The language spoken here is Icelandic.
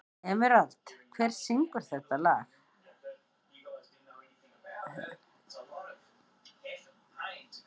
Emerald, hver syngur þetta lag?